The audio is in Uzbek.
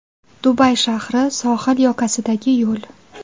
Dubay shahri sohil yoqasidagi yo‘l.